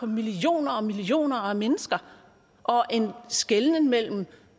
millioner og millioner af mennesker og en skelnen mellem